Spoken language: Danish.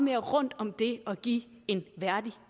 mere rundt om det at give en værdig